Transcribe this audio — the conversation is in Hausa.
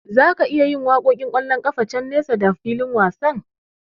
Zaka iya jin waƙoƙin ƙwallon kafa can nesa da fikin wasan.